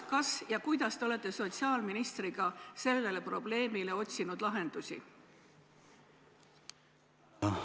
Kas ja kuidas olete te sotsiaalministriga otsinud sellele probleemile lahendusi?